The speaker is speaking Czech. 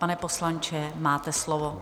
Pane poslanče, máte slovo.